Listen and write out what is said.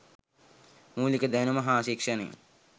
මූලික දැනුම හා ශික්‍ෂණය